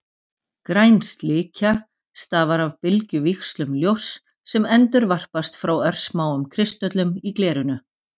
Græn slikja stafar af bylgjuvíxlum ljóss sem endurvarpast frá örsmáum kristöllum í glerinu.